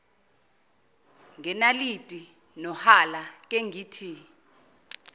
ngenaliti nohala kengithi